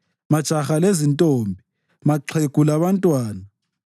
majaha lezintombi, maxhegu labantwana.